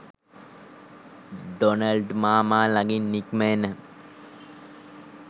Donald මාමා ළඟින් නික්ම එන